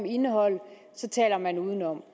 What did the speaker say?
indeholde taler man udenom